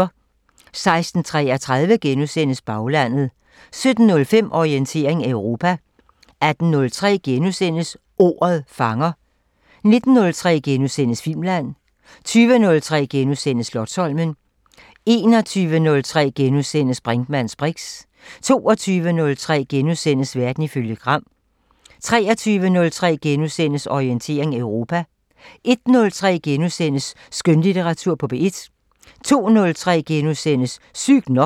16:33: Baglandet * 17:05: Orientering Europa 18:03: Ordet fanger * 19:03: Filmland * 20:03: Slotsholmen * 21:03: Brinkmanns briks * 22:03: Verden ifølge Gram * 23:03: Orientering Europa * 01:03: Skønlitteratur på P1 * 02:03: Sygt nok *